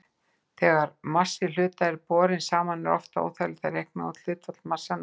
Þegar massi hluta er borinn saman er oft þægilegt að reikna út hlutfall massanna.